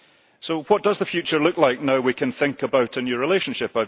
So what does the future look like, now that we can think about a new relationship?